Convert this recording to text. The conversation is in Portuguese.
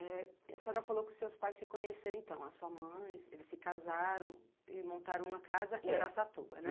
É, a senhora falou que os seus pais se conheceram então, a sua mãe, eles se casaram e montaram uma casa em Araçatuba, né?